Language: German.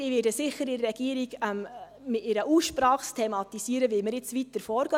– Ich werde es sicher in der Regierung in einer Aussprache thematisieren, wie wir weiter vorgehen.